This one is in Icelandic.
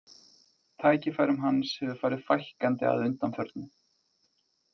Tækifærum hans hefur farið fækkandi að undanförnu.